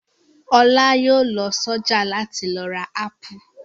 Ọlá yóò lọ sọ́jà láti lọ ra ápù.